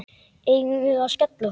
Eigum við að skella okkur?